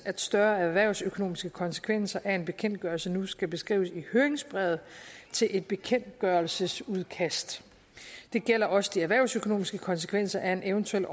at større erhvervsøkonomiske konsekvenser af en bekendtgørelse nu skal beskrives i høringsbrevet til et bekendtgørelsesudkast det gælder også de erhvervsøkonomiske konsekvenser af en eventuel